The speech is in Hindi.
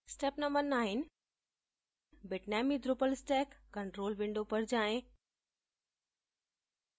step no 9: bitnami drupal stack control window पर जाएँ